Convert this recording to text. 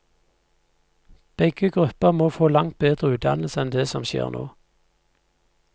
Begge grupper må få langt bedre utdannelse enn det som skjer nå.